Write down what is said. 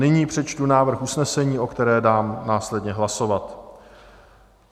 Nyní přečtu návrh usnesení, o kterém dám následně hlasovat: